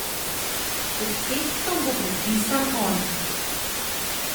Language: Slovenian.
Pod tekstom bo podpisan on.